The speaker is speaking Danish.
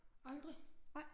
Aldrig